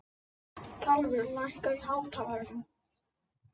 Kjalvör, lækkaðu í hátalaranum.